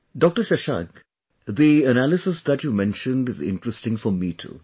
Dr Shashank, the analysis that you mentioned is interesting for me too